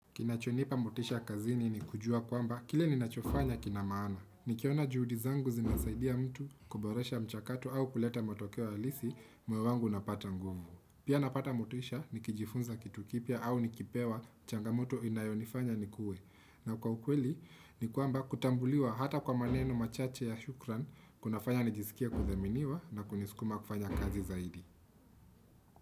Kinachonipa motisha kazini ni kujua kwamba kile ninachofanya kina maana. Nikiona juhudi zangu zinasaidia mtu kuboresha mchakato au kuleta motokeo halisi moyobwangu unapata nguvu. Pia napata motisha nikijifunza kitu kipya au nikipewa changamoto inayonifanya nikue. Na kwa ukweli ni kwamba kutambuliwa hata kwa maneno machache ya shukrani kunafanya nijisikie kuthaminiwa na kunisukuma kufanya kazi zaidi.